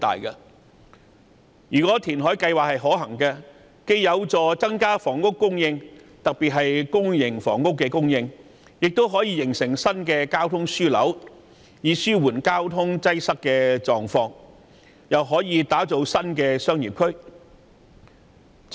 如果填海計劃可行，既有助增加房屋供應，特別是公營房屋的供應，亦可形成新的交通樞紐，以紓緩交通擠塞的狀況，更可打造新的商業區。